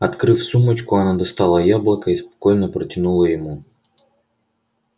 открыв сумочку она достала яблоко и спокойно протянула ему